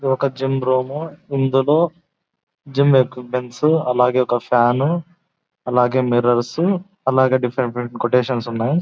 ఏది ఒక gym room. ఇందులో జిం ఎక్విప్మెంట్ అలాగే ఒక ఫ్యాను అలాగే మిర్రర్స్ అలాగే డిఫరెంట్ డిఫరెంట్ క్వేటేషన్స్ ఉన్నాయి.